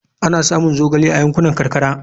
Ana samun zogale a yankunan karkara.